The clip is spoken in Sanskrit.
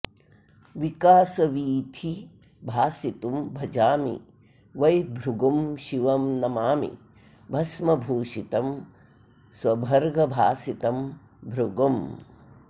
विकासवीथि भासितुं भजामि वै भृगुं शिवं नमामि भस्मभूषितं स्वभर्गभासितं भृगुम्